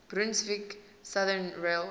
brunswick southern railway